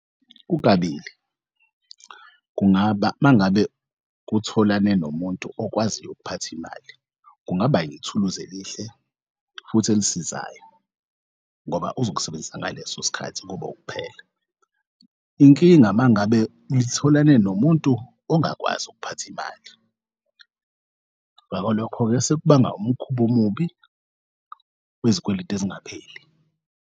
Kukabili kungaba mangabe kutholana nomuntu okwaziyo ukuphatha imali kungaba yithuluzi elihle futhi elisizayo ngoba uzowusebenzisa ngaleso sikhathi kube ukuphela. Inkinga mangabe nitholane nomuntu ongakwazi ukuphatha imali ngako lokho-ke sekubanga umkhub'omubi wezikweletu ezingapheli.